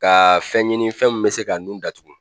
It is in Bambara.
Ka fɛn ɲini fɛn mun bɛ se ka nu datugu.